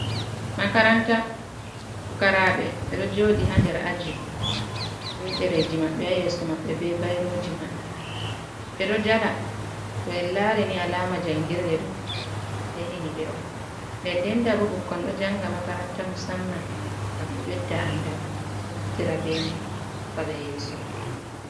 Makaranta fukaraaɓe, ɓe ɗo jooɗi ha nder aji, be ɗereji maɓɓe ha yeeso maɓɓe, be bairooji maɓɓe, ɓe ɗo jala, to en laari ni alaama jangirde ɗo, yahini ɓe on, nden ndenta bo ɓukkon ɗo janga makaranta musamman ngam ɓe ɓedda andal, ɓe naftira be mai, nafa ɓe yeeso.